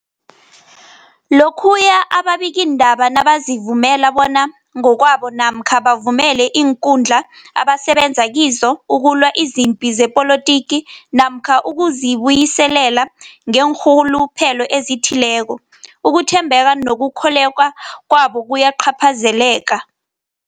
Lokhuya ababikiindaba nabazivumela bona ngokwabo namkha bavumele iinkundla abasebenza kizo ukulwa izipi zepolitiki namkha ukuzi buyiselela ngeenrhuluphelo ezithileko, ukuthembeka nokukholweka kwabo kuyacaphazeleka.